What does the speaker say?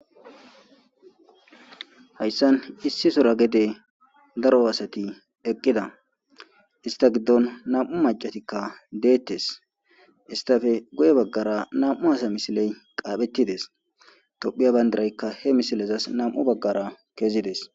Hayssan issi sora gede daro asati eqqida ista giddon nam.u macatikka deettes istafe goye baggara nam.u hasa misiley qaaphettides tophiya bayndiraykka he misilezas nam'u baggara kezides.